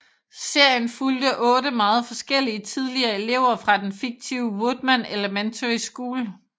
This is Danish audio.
Serien fulgte otte meget forskellige tidligere elever fra den fiktive Woodman Elementary School